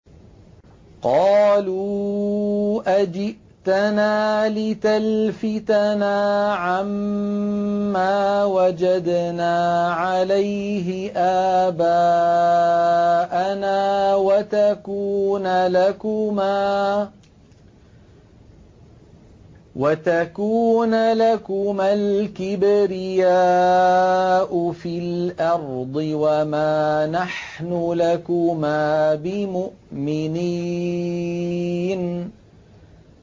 قَالُوا أَجِئْتَنَا لِتَلْفِتَنَا عَمَّا وَجَدْنَا عَلَيْهِ آبَاءَنَا وَتَكُونَ لَكُمَا الْكِبْرِيَاءُ فِي الْأَرْضِ وَمَا نَحْنُ لَكُمَا بِمُؤْمِنِينَ